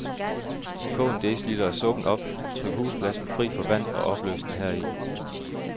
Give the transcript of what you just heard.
Kog en deciliter af suppen op, tryk husblasen fri for vand og opløs den heri.